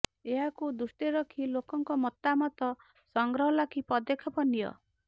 ଏହାକୁ ଦୃଷ୍ଟିରେ ରଖି ଲୋକଙ୍କ ମତାମତ ସଂଗ୍ରହ ଲାଗି ପଦକ୍ଷେପ ନିଅ